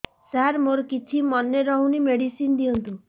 ସାର ମୋର କିଛି ମନେ ରହୁନି ମେଡିସିନ ଦିଅନ୍ତୁ